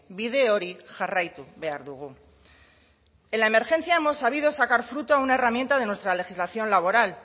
bide hori jarraitu behar dugu en la emergencia hemos sabido sacar fruto a una herramienta de nuestra legislación laboral